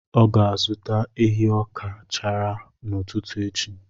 Ọ ga-azụta ehi ọka chara n’ụtụtụ echi.